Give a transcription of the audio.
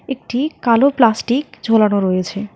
একটি কালো প্লাস্টিক ঝোলানো রয়েছে।